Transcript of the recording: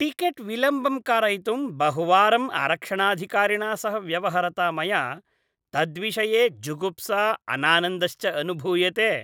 Ticket विलम्बं कारयितुं बहुवारं आरक्षणाधिकारिणा सह व्यवहरता मया तद्विषये जुगुप्सा अनानन्दश्च अनुभूयते।